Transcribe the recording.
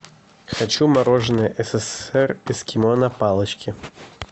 хочу мороженое ссср эскимо на палочке